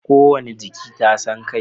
Kowane jiki tasa kai